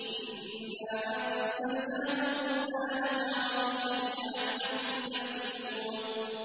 إِنَّا أَنزَلْنَاهُ قُرْآنًا عَرَبِيًّا لَّعَلَّكُمْ تَعْقِلُونَ